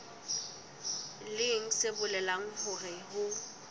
leng se bolelang hore ho